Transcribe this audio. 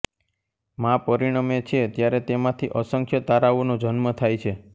મા પરીણમે છે ત્યારે તેમાથી અસંખ્ય તારાઓ નો જન્મ થાય છે